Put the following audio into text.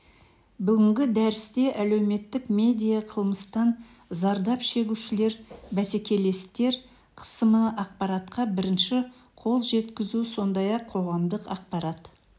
бүгінгі дәрісте әлеуметтік медиа қылмыстан зардап шегушілер бәсекелестер қысымы ақпаратқа бірінші қол жеткізу сондай-ақ қоғамдық ақпарат